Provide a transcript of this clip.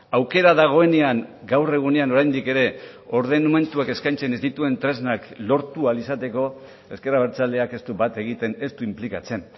aukera dagoenean gaur egunean oraindik ere ordenamenduak eskaintzen ez dituen tresnak lortu ahal izateko ezker abertzaleak ez du bat egiten ez du inplikatzen